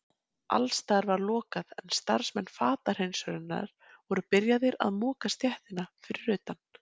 Alls staðar var lokað en starfsmenn fatahreinsunarinnar voru byrjaðir að moka stéttina fyrir utan.